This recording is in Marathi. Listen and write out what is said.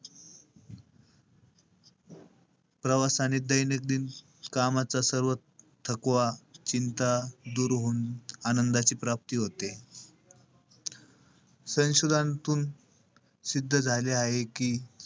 प्रवास आणि दैनकदिन कामाचा सर्व थकवा, चिंता दूर होऊन आनंदाची प्राप्ती होते. संशोदांतून सिद्ध झाले आहे कि,